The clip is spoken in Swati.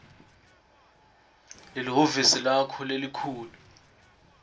lwelihhovisi lakho lelikhulu